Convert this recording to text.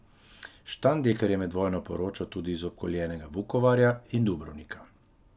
Štandeker je med vojno poročal tudi iz obkoljenega Vukovarja in Dubrovnika.